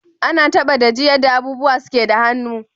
Ana taba da ji yadda abubuwa suke da hannu.